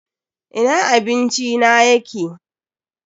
Ina abinci na yake!